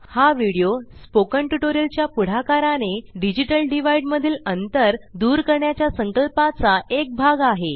हा video spoken tutorial च्या पुढाकाराने डिजिटल डिव्हाईड मधील अंतर दूर करण्याच्या संकल्पाचा एक भाग आहे